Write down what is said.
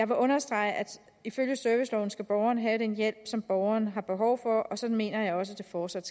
understrege at ifølge serviceloven skal borgeren have den hjælp som borgeren har behov for og sådan mener jeg også fortsat